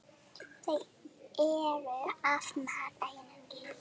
Þau eru af mat.